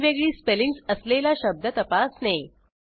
वेगवेगळी स्पेलिंग्ज असलेला शब्द तपासणे